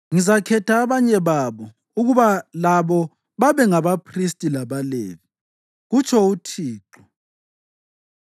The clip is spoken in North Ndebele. Ngizakhetha abanye babo ukuba labo babe ngabaphristi labaLevi,” kutsho uThixo.